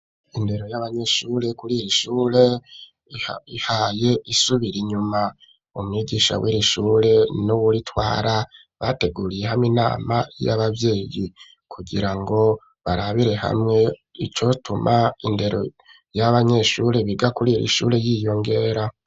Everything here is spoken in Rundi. Indero y'abanyeshure, kuri iri shure, ihaye isubira inyuma; umwigisha w'iri shure, n'uwuritwara, bateguriye hamwe, inama y'abavyeyi; kugira ngo, barabire hamwe, icotuma, indero y'abanyeshure, biga kuri iri shure, yiyongera.